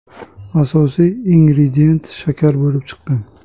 Asosiy ingredient shakar bo‘lib chiqqan.